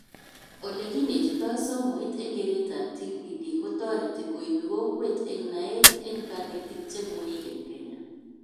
Olekinetitoi somoit eng keretab TPD kotoreti koibi kokwet eng naet eng kanetik chemweik eng Kenya